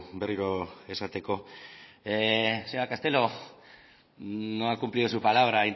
berriro esateko señora castelo no ha cumplido su palabra ha